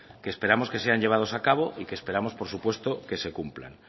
que esperamos que sean llevados a cabo y que esperamos por supuesto que se cumplan